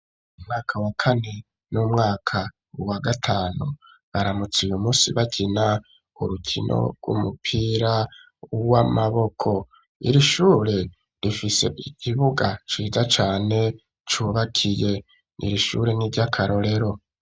Umwaka wa kane n'umwaka wa gatanu baramutse uyu munsi bakina urukino rw'umupira w'amaboko, iri shure rifise ikibuga ciza cane cubakiye, iri shure n'iry'akarorero.